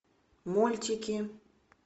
мультики